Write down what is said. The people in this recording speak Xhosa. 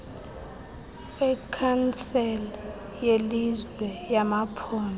wekhansile yelizwe yamaphondo